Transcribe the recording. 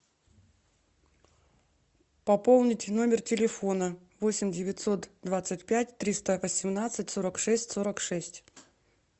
пополните номер телефона восемь девятьсот двадцать пять триста восемнадцать сорок шесть сорок шесть